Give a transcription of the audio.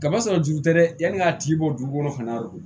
Kaba sɔrɔ juru tɛ dɛ yanni a tigi bɔ juru kɔnɔ